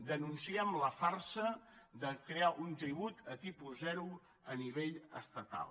denunciem la farsa de crear un tribut a tipus zero a nivell estatal